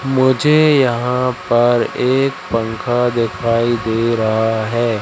मुझे यहा पर एक पंखा दिखाई दे रहा है।